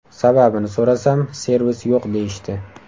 Sababini so‘rasam, servis yo‘q deyishdi.